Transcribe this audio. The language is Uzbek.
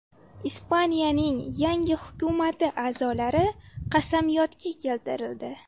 Ispaniyaning yangi hukumati a’zolari qasamyodga keltirildi.